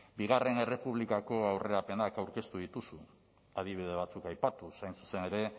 bigarren errepublikako aurrerapenak aurkeztu dituzu adibide batzuk aipatuz hain zuzen ere